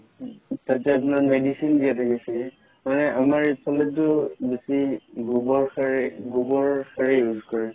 তাতে আপোনাৰ medicine দিয়া থাকিছে মানে আমাৰ এইফালেটো বেচি গুৱৰ সাৰে গুৱৰৰ সাৰে use কৰে